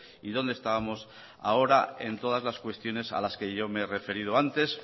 y dónde estábamos ahora en todas las cuestiones a las que yo me he referido antes